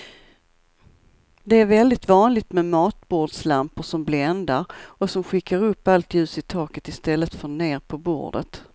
Det är väldigt vanligt med matbordslampor som bländar och som skickar upp allt ljus i taket i stället för ner på bordet.